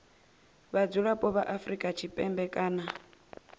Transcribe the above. vhadzulapo vha afrika tshipembe kana